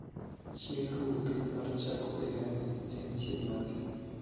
chieng' ruo piny mar chako higa higani en chieng' mane